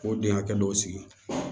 K'o den hakɛ dɔw sigi